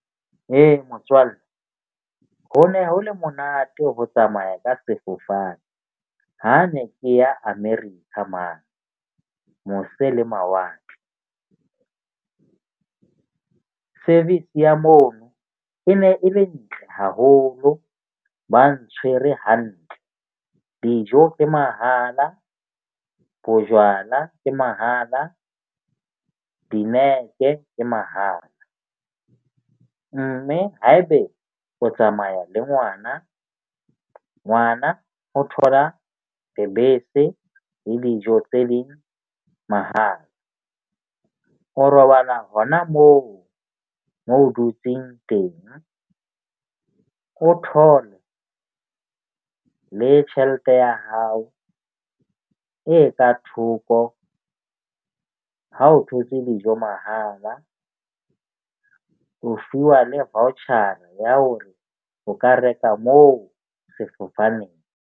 Ee, motswalle ho ne ho le monate ho tsamaya ka sefofane. Ha ne ke ya America mane mose le mawatle. Service ya mono e ne e le ntle haholo, ba ntshwere hantle. Dijo ke mahala, bojwala ke mahala, dinepe ke mahala. Mme ha ebe o tsamaya le ngwana, ngwana o thola lebese le dijo tse leng mahala, o robala hona moo mo o dutseng teng. Cotton le tjhelete ya hao e ka thoko ha o thotse dijo mahala. O fuwa le voucher ya hore o ka reka moo sefofaneng.